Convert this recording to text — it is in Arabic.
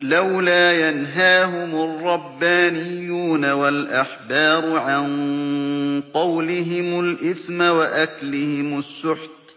لَوْلَا يَنْهَاهُمُ الرَّبَّانِيُّونَ وَالْأَحْبَارُ عَن قَوْلِهِمُ الْإِثْمَ وَأَكْلِهِمُ السُّحْتَ ۚ